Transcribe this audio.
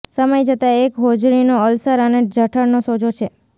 સમય જતાં એક હોજરીનો અલ્સર અને જઠરનો સોજો છે